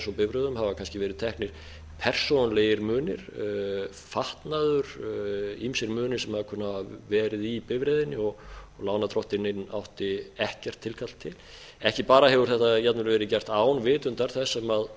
bifreiðum hafa kannski leið teknir persónulegir munir fatnaður ýmsir munir sem kunna að hafa verið í bifreiðinni og lánardrottinninn átti ekkert tilkall til ekki hefur þetta bara verið gert án vitundar þess